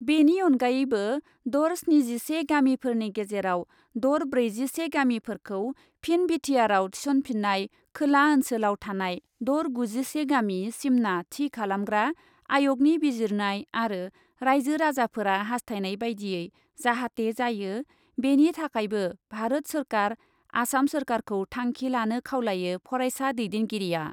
बेनि अनगायैबो दर स्निजिसे गामिफोरनि गेजेराव दर ब्रैजिसे गामिफोरखौ फिन बिटिआरआव थिसनफिन्नाय, खोला ओन्सोलाव थानाय दर गुजिसे गामि सिमना थि खालामग्रा आय'गनि बिजिरनाय आरो राइजो राजाफोरा हास्थायनाय बायदियै जाहाथे जायो बेनि थाखायबो भारत सोरखार, आसाम सोरखारखौ थांखि लानो खावलायो फरायसा दैदेनगिरिआ।